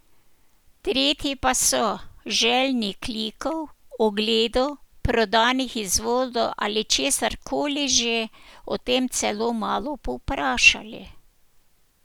Tretji pa so, željni klikov, ogledov, prodanih izvodov ali česarkoli že, o tem celo malo povprašali.